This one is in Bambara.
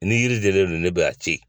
Ni yiri dennen don ne b'a to yen